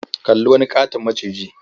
Kalli wani ƙaton maciji.